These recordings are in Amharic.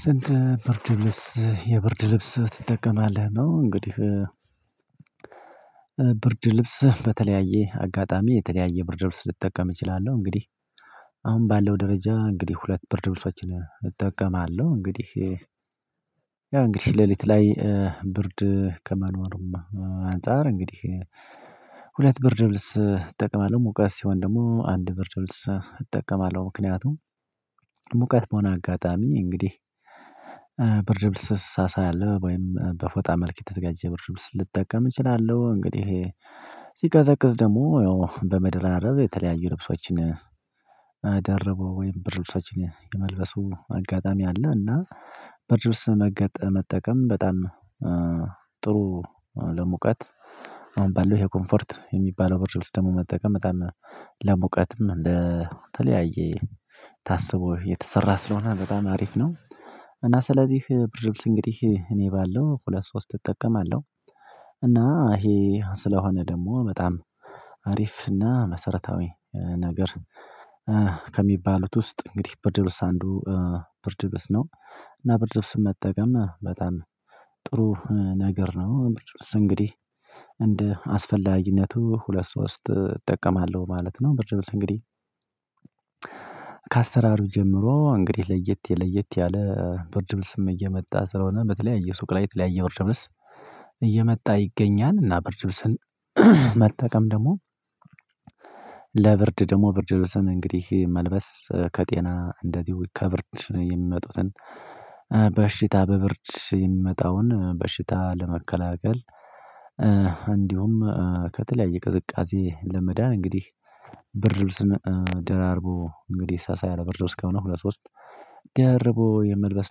ስንት ብርድ ልብስ የብርድ ልብስ ትጠቀማለህ ነው? እንግዲህ ብርድ ልብስ በተለያየ አጋጣሚ የተለያየ ብርድ ልብስ ልጠቀም እችላለሁ እንግዲህ። አሁን ባለው ደረጃ እንግዲህ ሁለት ብርድ ብርሶችን እጠቀማለሁ እንግዲህ። ያው እንግዲህ ሌሊት ላይ ብርድ ከመኖሩማ አንፃር እንግዲህ ሁለት ብርድ ልብስ እጠቅማለሁ። ሙቀት ሲሆን ደግሞ አንድ ብርድ ልብስ እጠቀማለሁ ምክንያቱም ሙቀት በሆነ አጋጣሚ እንግዲህ ብርድ ልብስ ሳሳ ያለ ወይም በፎጣ መልክ የተዘጋጀ ብርድ ልብስ ልጠቀም እችላለሁ። እንግዲህ ሲቀዘቅዝ ደግሞ ያው በመደራረብ የተለያዩ ልብሶችን ደርቦ ወይም ብርድ ልብሶችን የመልበሱ አጋጣሚ አለ። እና ብርድ ልብስ መጠቀም በጣም ጥሩ ለሙቀት። አሁን ባለው ይሄ ኮምፈርት የሚባለው ብርድ ልብስ ውስጥ ደግሞ መጠቀም በጣም ለሙቀትም እንደ ተለያየ ታስቦ የተሰራ ስለሆነ በጣም አሪፍ ነው። እና ስለዚህ ብርድ ልብስ እንግዲህ እኔ ባለው ሁለት ሶስት እጠቀማለሁ። እና ይሄ ስለሆነ ደግሞ በጣም አሪፍ እና መሰረታዊ ነገር ከሚባሉት ውስጥ እንግዲህ ብርድ ልብስ አንዱ ብርድ ልብስ ነው። እና ብርድ ልብስ መጠቀም በጣም ጥሩ ነገር ነው ብርድ ልብስ እንግዲህ እንደ አስፈላጊነቱ ሁለት ሶስት እጠቀማለሁ ማለት ነው። ብር ድምጽ እንግዲህ ከአሰራሩ ጀምሮ እንግዲህ ለየት ለየት ያለ ብርድ ልብስም እየመጣ ስለሆነ በተለያየ ሱቅ ላይ የተለያየ ብርድ ልብስ እየመጣ ይገኛል። እና ብርድ ልብስን መጠቀም ደግሞ ለብርድ ደግሞ ብርድ ልብስን እንግዲህ መልበስ ከጤና እንደዚሁ ከብርድ የሚመጡትን በሽታ በብርድ የሚመጣውን በሽታ ለመከላከል። እንዲሁም ከተለያየ ቅዝቃዜ ለመዳን እንግዲህ ብርድ ልብስን ደራርቦ እንግዲህ ሳሳ ያለ ብርድ ልብስ ከሆነ ሁለት ሶስት ደርቦ የመልበስ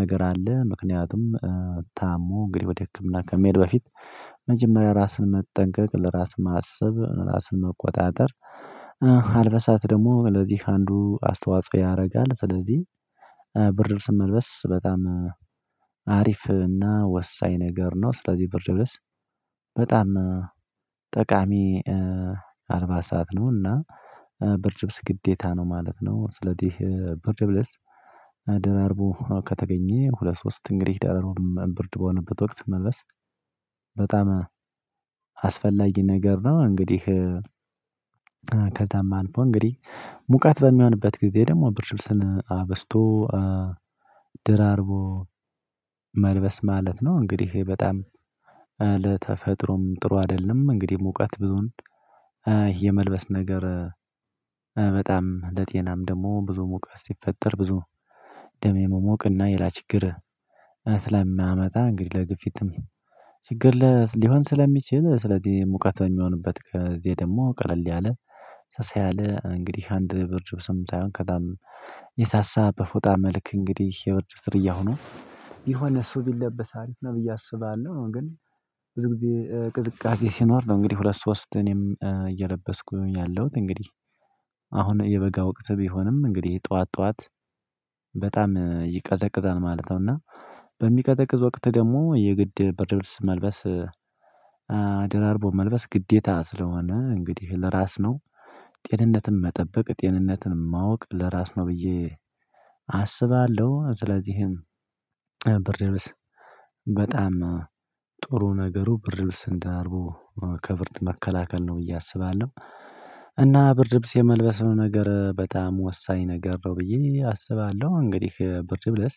ነገር አለ። ምክንያቱም ታሞ እንግዲህ ወደ ህክምና ከመሄድ በፊት መጀመሪያ ራስን መጠንቀቅ ለራስ ማሰብ ራስን መቆጣጠር አልበሳት ደግሞ ለዚህ አንዱ አስተዋጽኦ ያደርጋል። ስለዚህ ብርድ ልብስን መልበስ በጣም አሪፍ እና ወሳኝ ነገር ነው። ስለዚህ ብርድ ልብስ በጣም ጠቃሚ አልባሳት ነውና ብርድ ልብስ ግዴታ ነው ማለት ነው። ስለዚህ ብርድ ልብስ ደራርቦ ከተገኘ ሁለት ሶስት እንግዲህ ደራርም ብርድ በሆነበት ወቅት መልበስ በጣም አስፈላጊ ነገር ነው። እንግዲህ ከዛም አንፎ እንግዲህ ሙቀት በሚሆንበት ጊዜ ደግሞ ብርድ ልብስን አብዝቶ ድራርቦ መልበስ ማለት ነው። እንግዲህ በጣም ለተፈጥሮም ጥሩ አይደለም እንግዲህ ሙቀት ብዙን የመልበስ ነገር በጣም ለጤናም ደግሞ ብዙ ሙቀት ሲፈጠር ብዙ ደም የመሞቅና ሌላምችግር ስለሚያመጣ እንግዲህ ለግፊትም ችግር ለ ሊሆን ስለሚችል ስለዚህ ሙቀት በሚሆንበት ጊዜ ደግሞ ቀለል ያለ ሳሳ ያለ እንግዲህ አንድ ብርድ ልብስም ሳይሆን ከዛም በፎጣ መልክ እንግዲህ የብርድ ልብስ ዝርያ ሆኖ የሆነ እሱ ቢለበስ አሪፍ ነው። ብዬ አስባለሁ ግን ብዙ ጊዜ ቅዝቃዜ ሲኖር ነው እንግዲህ ሁለት ሶስት እኔም እየለበስኩኝ ያለሁት እንግዲህ አሁን የበጋ ወቅት ቢሆንም እንግዲህ ጠዋት ጠዋት በጣም ይቀዘቅዛል ማለት ነው። እና በሚቀዘቅዝ ወቅት ደግሞ የግድ ብርድ ልብስ መልበስ ደራርቦ መልበስ ግዴታ ስለሆነ እንግዲህ ለራስ ነው ጤንነትን መጠበቅ ጤንነትን ማወቅ ለራስ ነው ብዬ አስባለሁ። ስለዚህም ብርድ ልብስ በጣም ነገሩ ብርድ ልብስን ደራርቦ ከብርድ መከላከል ነው ብዬ አስባለሁ። እና ብድር ልብስ የመልበስ ነገር በጣም ወሳኝ ነገር ነው ብዬ አስባለሁ። እንግዲህ ብርድ ልብስ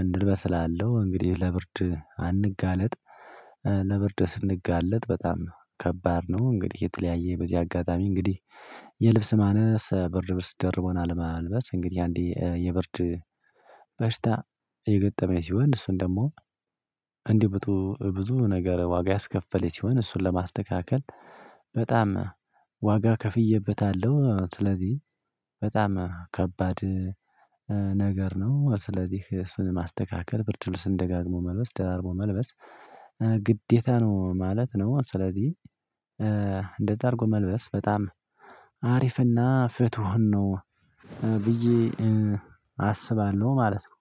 እንልበስ እላለው እንግዲህ ለብርድ አንጋለጥ ለብርድ ስንጋለጥ በጣም ከባድ ነው። እንግዲህ የተለያየ በዚህ አጋጣሚ እንግዲህ የልብስ ማነስ ብርድ ልብስ ደርቦን አለማልበስ እንግዲህ አንዴ የብርድ በሽታ የገጠመኝ ሲሆን እሱን ደግሞ ብዙ ነገር ዋጋ ያስከፈለት ይሆን እሱን ለማስተካከል በጣም ዋጋ ከፍዬበታለሁ። ስለዚህ በጣም ከባድ ነገር ነው ስለዚህ እሱን ማስተካከል ብርድ ልብስን ደጋግሞ መልበስ ደራርቦ መልበስ ግዴታ ነው ማለት ነው። ስለዚህ እንደዛ አድርጎ መልበስ በጣም አሪፍና ፍትሁን ነው ብዬ አስባለሁ ማለት ነው